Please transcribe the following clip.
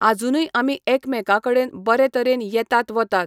आजुनूय आमी एकामेकां कडेन बरे तरेन येतात वतात.